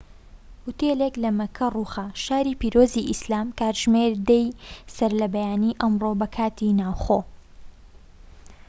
ئوتێلێك لە مەککە ڕووخا، شاری پیرۆزی ئیسلام کاتژمێر ١٠ی سەرلەبەیانی ئەمڕۆ بە کاتی ناوخۆ